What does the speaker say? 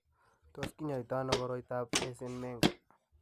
Tos kinyaita ano koroitoab Eisenmenger?